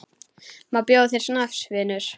Má bjóða þér snafs, vinur?